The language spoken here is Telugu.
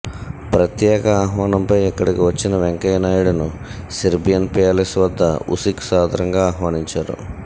ప్రత్యేక ఆహ్వానంపై ఇక్కడికి వచ్చిన వెంకయ్య నాయుడును సెర్బియన్ ప్యాలెస్ వద్ద ఉసిక్ సాదరంగా ఆహ్వానించారు